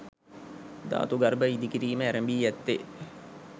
ධාතු ගර්භ ඉදිකිරීම ඇරඹී ඇත්තේ